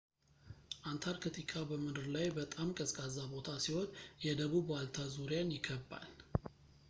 አንታርክቲካ በምድር ላይ በጣም ቀዝቃዛ ቦታ ሲሆን የደቡብ ዋልታ ዙሪያን ይከብባል